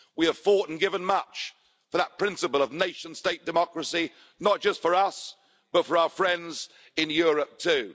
We have fought and given much for that principle of nation state democracy, not just for us but for our friends in Europe too.